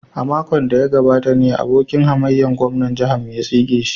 A makon da ya gabata ne abokin hamayyar gwamnan jihar mu ya tsige shi.